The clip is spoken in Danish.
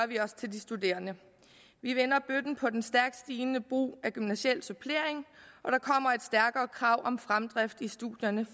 vi også til de studerende vi vender bøtten på den stærkt stigende brug af gymnasial supplering og der kommer et stærkere krav om fremdrift i studierne